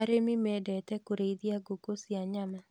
Arĩmi mendete kũrĩithia ngũkũ cia nyama